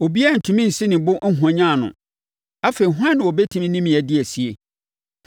Obiara ntumi nsi ne bo nhwanyane no. Afei hwan na ɔbɛtumi ne me adi asie?